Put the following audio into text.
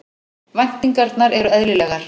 Væntingarnar eru eðlilegar